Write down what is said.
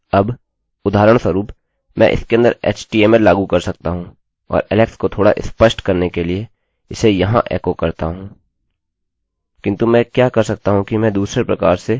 अब उदाहरणस्वरुप मैं इसके अंदर htmlएचटीएमएल लागू कर सकता हूँ और alex को थोड़ा स्पष्ट करने के लिए इसे यहाँ एकोecho करता हूँ